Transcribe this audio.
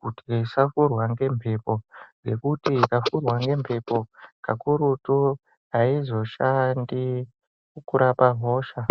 kuti isapfurwa ngembepo ngekuti ikapfurwa ngembepo kakurutu aizoshandi kurapa hosha.